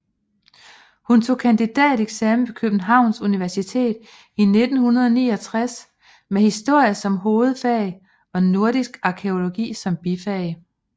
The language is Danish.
Hun tog kandidateksamen ved Københavns Universitet i 1969 med historie som hovedfag og nordisk arkæologi som bifag